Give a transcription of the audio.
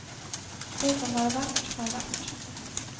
Det som har vært, har vært.